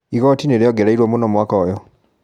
Igoti nĩriongereiruo mũno mwaka ũyũ.